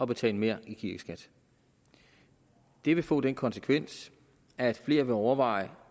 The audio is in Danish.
betale mere i kirkeskat det vil få den konsekvens at flere vil overveje